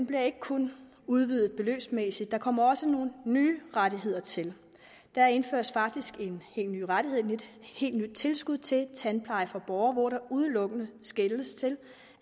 bliver ikke kun udvidet beløbsmæssigt der kommer også nogle nye rettigheder til der indføres faktisk en helt ny rettighed et helt nyt tilskud til tandpleje for borgere hvor der udelukkende skeles til